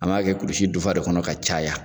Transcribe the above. An b'a kɛ kurusi dufa de kɔnɔ ka caya.